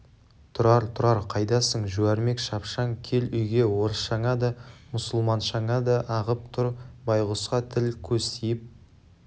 тұрар тұрар қайдасың жуәрмек шапшаң кел үйге орысшаңа да мұсылманшаңа да ағып тұр байғұсқа тіл-көз тиіп